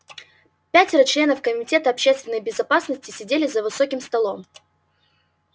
пятеро членов комитета общественной безопасности сидели за высоким столом